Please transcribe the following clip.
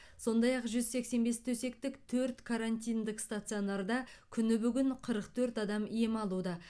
сондай ақ жүз сексен бес төсектік төрт карантиндік стационарда күні бүгін қырық төрт адам ем алуда